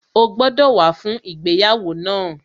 O gbọ́dọ̀ wá fún ìgbéyàwó náà